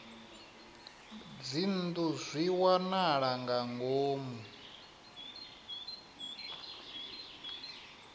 dzinnu zwi wanala nga ngomu